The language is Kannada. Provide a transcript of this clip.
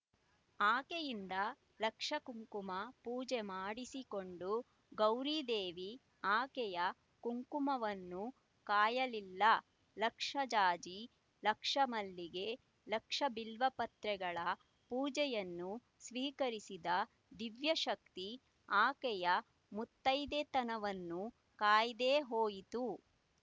ಆಕೆಯಿಂದ ಲಕ್ಷ ಕುಂಕುಮ ಪೂಜೆ ಮಾಡಿಸಿಕೊಂಡ ಗೌರೀದೇವಿ ಆಕೆಯ ಕುಂಕುಮವನ್ನು ಕಾಯಲಿಲ್ಲ ಲಕ್ಷ ಜಾಜಿ ಲಕ್ಷ ಮಲ್ಲಿಗೆ ಲಕ್ಷ ಬಿಲ್ವಪತ್ರೆಗಲ ಪೂಜೆಯನ್ನು ಸ್ವೀಕರಿಸಿದ ದಿವ್ಯಶಕ್ತಿ ಆಕೆಯ ಮುತ್ತೈದೆತನವನ್ನು ಕಾಯದೆ ಹೋಯಿತು